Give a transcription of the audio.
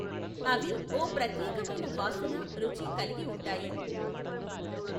అవి ఓ ప్రత్యేకమైన వాసన రుచి కలిగి ఉంటాయి.